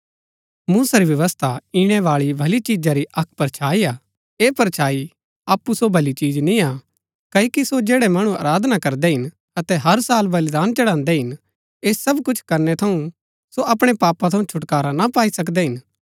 मूसा री व्यवस्था ईणैबाळी भली चीजा री अक्क परछाई हा ऐह परछाई अप्पु सो भली चिज निय्आ क्ओकि सो जैड़ै मणु आराधना करदै हिन अतै हर साल बलिदान चढ़ान्दै हिन ऐह सब कुछ करनै थऊँ सो अपणै पापा थऊँ छुटकारा ना पाई सकदै हिन